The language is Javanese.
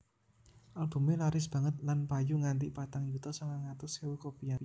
Albumé laris banget lan payu nganti patang yuta sangang atus ewu copyané